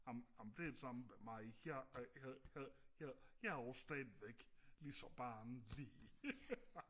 amen amen det er det samme med mig jeg jeg jeg er også stadig lige så barnlig